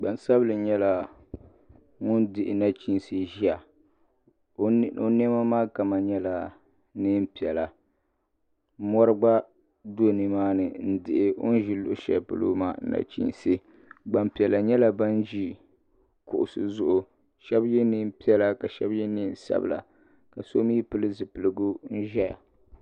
Gbansabinli nyɛla ŋun dihi nachinsi ʒia o niɛma maa kama nyɛla niɛn'piɛla mori gba do nimaani n dihi o ni be luɣushɛli polo maa nachinsi gbampiɛla nyɛla ban ʒi kuɣusi zuɣu sheba ye niɛn'piɛla ka sheba ye niɛn'sabla ka so mee pili zipiligu n ʒɛya.